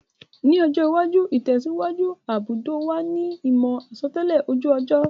Ní ọjọ́ iwájú, ìtẹ̀síwájú gbudò wa ni ìmò àsotẹ́lẹ̀ ojú ọjọ́